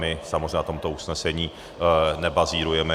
My samozřejmě na tomto usnesení nebazírujeme.